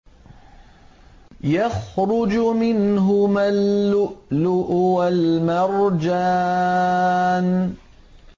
يَخْرُجُ مِنْهُمَا اللُّؤْلُؤُ وَالْمَرْجَانُ